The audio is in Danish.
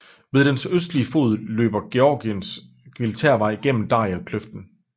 Ved dens østlige fod løber Georgiske militærvej gennem Darialkløften